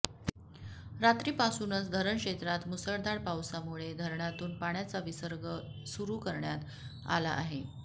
रात्रीपासूनच धरण क्षेत्रात मुसळधार पाऊसामुळे धरणातून पाण्याचा विसर्ग सुरू करण्यात आला आहे